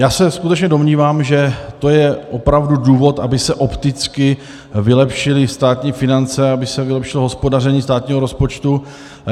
Já se skutečně domnívám, že to je opravdu důvod, aby se opticky vylepšily státní finance, aby se vylepšilo hospodaření státního rozpočtu.